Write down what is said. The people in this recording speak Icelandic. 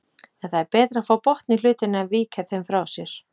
En það er betra að fá botn í hlutina en víkja þeim frá sér.